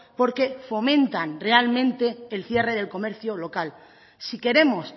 porque fomentan realmente el cierre del comercio local si queremos